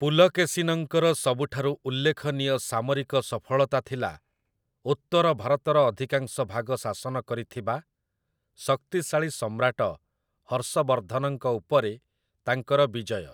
ପୁଲକେଶୀନଙ୍କର ସବୁଠାରୁ ଉଲ୍ଲେଖନୀୟ ସାମରିକ ସଫଳତା ଥିଲା ଉତ୍ତର ଭାରତର ଅଧିକାଂଶ ଭାଗ ଶାସନ କରିଥିବା ଶକ୍ତିଶାଳୀ ସମ୍ରାଟ ହର୍ଷବର୍ଦ୍ଧନଙ୍କ ଉପରେ ତାଙ୍କର ବିଜୟ ।